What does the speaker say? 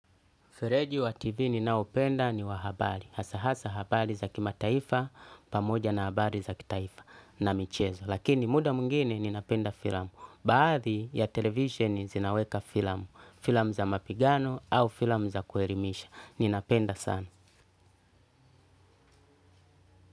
Fereji wa TV ninaopenda ni wa habari. Hasa hasa habari za kimataifa pamoja na habari za kitaifa na michezo. Lakini muda mwingine ninapenda filamu. Baadhi ya televisioni zinaweka filamu. Filamu za mapigano au filamu za kuelimisha. Ninapenda sana.